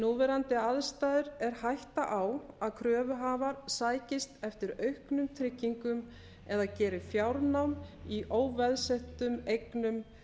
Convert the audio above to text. núverandi aðstæður er hætta á að kröfuhafar sækist eftir auknum tryggingum eða geri fjárnám í óveðsettum eignum